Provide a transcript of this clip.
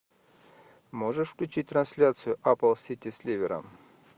можешь включить трансляцию апл сити с ливером